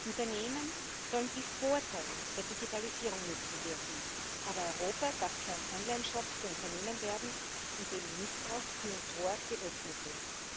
Unternehmen sollen die Vorteile der Digitalisierung nützen dürfen, aber Europa darf kein Onlineshop für Unternehmen werden, in denen Missbrauch Tür und Tor geöffnet wird.